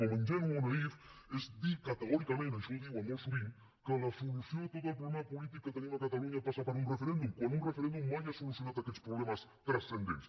com ingenu o naïf és dir categòricament això ho diuen molt sovint que la solució de tot el problema polític que tenim a catalunya passa per un referèndum quan un referèndum mai ha solucionat aquests problemes transcendents